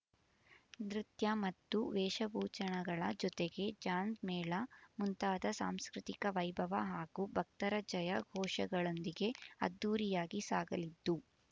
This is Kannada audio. ನೃತ್ಯ ಮತ್ತು ವೇಷಭೂಚಣಗಳ ಜೊತೆಗೆ ಜಾಂಜ್ ಮೇಳ ಮುಂತಾದ ಸಾಂಸ್ಕೃತಿಕ ವೈಭವ ಹಾಗೂ ಭಕ್ತರ ಜಯ ಘೋಷಗಳೊಂದಿಗೆ ಅದ್ದೂರಿಯಾಗಿ ಸಾಗಲಿದ್ದು